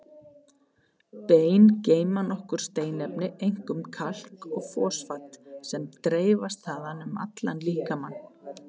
Bein geyma nokkur steinefni, einkum kalk og fosfat, sem dreifast þaðan um allan líkamann.